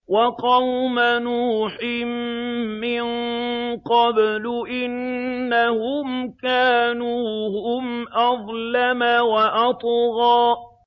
وَقَوْمَ نُوحٍ مِّن قَبْلُ ۖ إِنَّهُمْ كَانُوا هُمْ أَظْلَمَ وَأَطْغَىٰ